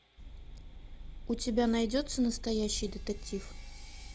у тебя найдется настоящий детектив